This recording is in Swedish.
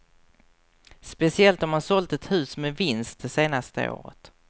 Speciellt om man sålt ett hus med vinst det senaste året.